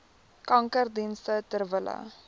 kankerdienste ter wille